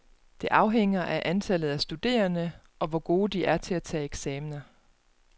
Det afhænger af antallet af studerende, og hvor gode de er til at tage eksaminer.